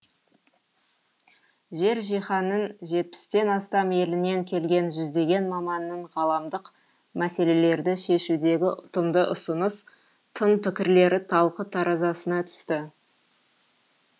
жер жиһанның жетпістен астам елінен келген жүздеген маманның ғаламдық мәселелерді шешудегі ұтымды ұсыныс тың пікірлері талқы таразысына түсті